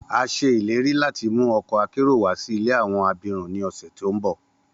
A ṣe ileri lati mu ọkọ akero wa si ile awọn abirun ni ọsẹ ti n bọ